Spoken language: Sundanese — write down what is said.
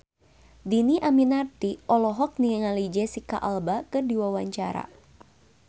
Dhini Aminarti olohok ningali Jesicca Alba keur diwawancara